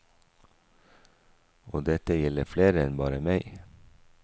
Og dette gjelder flere enn bare meg.